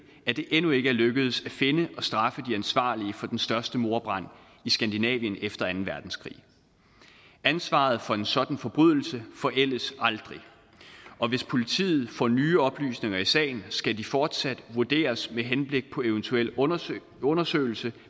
at det endnu ikke er lykkedes at finde og straffe de ansvarlige for den største mordbrand i skandinavien efter anden verdenskrig ansvaret for en sådan forbrydelse forældes aldrig og hvis politiet får nye oplysninger i sagen skal de fortsat vurderes med henblik på eventuel undersøgelse undersøgelse